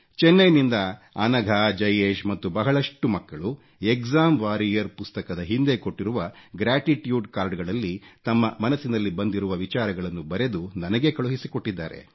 ಚೆನ್ನೈ ನಿಂದ ಅನಘಾ ಜಯೇಶ್ ಮತ್ತು ಬಹಳಷ್ಟು ಮಕ್ಕಳು ಎಕ್ಸಾಮ್ ವಾರಿಯರ್ ಪುಸ್ತಕದ ಹಿಂದೆ ಕೊಟ್ಟಿರುವ ಗ್ರಾಟಿಟ್ಯೂಡ್ ಕಾರ್ಡ್ ಗಳಲ್ಲಿ ತಮ್ಮ ಮನಸ್ಸಿನಲ್ಲಿ ಬಂದಿರುವ ವಿಚಾರಗಳನ್ನು ಬರೆದು ನನಗೇ ಕಳುಹಿಸಿಕೊಟ್ಟಿದ್ದಾರೆ